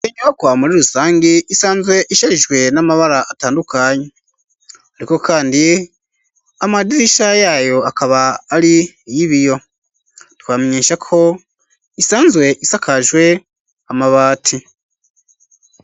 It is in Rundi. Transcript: Inyubakwa muri rusangi isanzwe isharijwe n'amabara atandukanye ,ariko kandi amadirisha yayo akaba ari yibiyo ,twobamenyesha ko isanzwe isakajwe amabati.